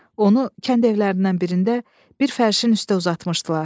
Onu kənd evlərindən birində bir fərşin üstə uzatmışdılar.